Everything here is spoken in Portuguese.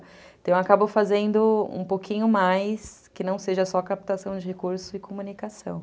Então, eu acabo fazendo um pouquinho mais, que não seja só captação de recursos e comunicação.